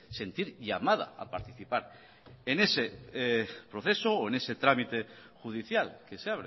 sentir llamada a participar en ese proceso o en ese trámite judicial que se